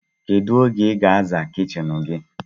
Kedu oge iga aza kichin gi?